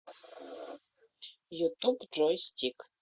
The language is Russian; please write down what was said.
ютуб джой стик